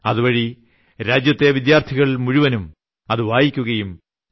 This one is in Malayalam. അതുവഴി രാജ്യത്തെ വിദ്യാർത്ഥികൾ മുഴുവൻ അതു വായിക്കുകയും ടി